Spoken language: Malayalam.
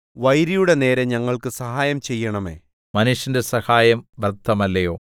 വൈരിയുടെ നേരെ ഞങ്ങൾക്കു സഹായം ചെയ്യണമേ മനുഷ്യന്റെ സഹായം വ്യർത്ഥമല്ലയോ